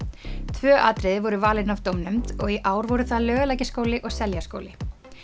tvö atriði voru valin af dómnefnd og í ár voru það Laugalækjarskóli og Seljaskóli